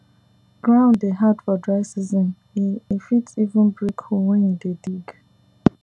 ground dey hard for dry season e e fit even break hoe when you dey dig